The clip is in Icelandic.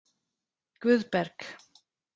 Guðberg